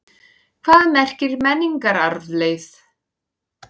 Hvað merkir menningararfleifð?